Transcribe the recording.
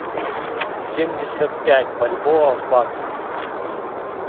семьдесят пять бальбоа в баксах